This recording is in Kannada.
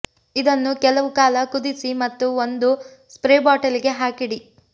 ಇದನ್ನು ಕೆಲವು ಕಾಲ ಕುದಿಸಿ ಮತ್ತು ಒಂದು ಸ್ಪ್ರೇ ಬಾಟಲಿಗೆ ಹಾಕಿಡಿ